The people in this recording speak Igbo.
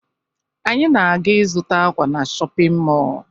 Anyị na-aga ịzụta ákwà na shọpịn mọọ